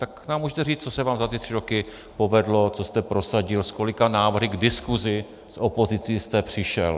Tak nám můžete říct, co se vám za ty tři roky povedlo, co jste prosadil, s kolika návrhy k diskusi s opozicí jste přišel.